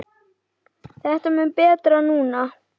Þetta er mun betra núna.